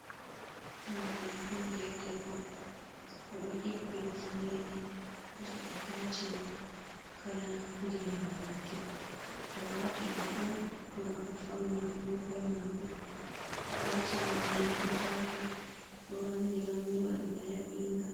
Hore ɓingel debbo, oɗo hippi hufunere je atacimen kala ndiyam leddi, o wati ɗum on ngam o fauna hore mako ataci'men mai jutaka ɗo rammi rammi waɗi ba laɓinga.